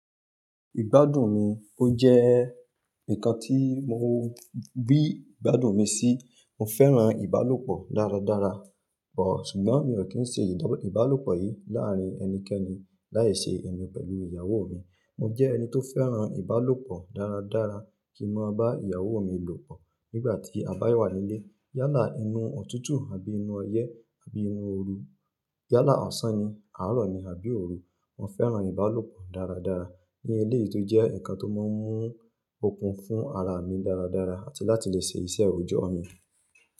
Ìgbádùn mi, ó jẹ́ ǹkan tí mo ri igbádùn mi sí. Mo fẹ́ràn ìbálòpọ̀ dáradára, but ṣùgbọ́n mi ò kí ń ṣe ìdá ìbálòpọ̀ yìí láàárín ẹnikẹ́ni láyé ṣe èmi pẹ̀lú ìyàwó mi. Mo jẹ́ ẹni tó fẹ́ràn ìbálòpọ̀ dáradára kí mọ bá ìyàwó mi lòpọ̀ nígbà tí a bá wà nílé. Yálà inú òtútù àbí inú ọyẹ́ àbí inú ooru, yálà ọ̀sán ni, àárọ̀ ni àbí òru, mo fẹ́ràn ìbálòpọ̀ dáradára ní eléyìí tó jẹ́ ǹkan tó máa ń mú okun fún ara mi dáradára àti láti lè ṣe iṣẹ́ òòjọ́ mi.